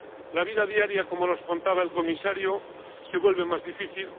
La vida diaria, como nos contaba el Comisario, se vuelve más difícil.